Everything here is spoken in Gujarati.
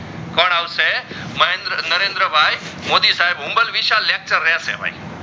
મહેન્દ્ર નરન્દ્ર ભાઈ મોદી સાહેબ lecture રેહસે ભાઈ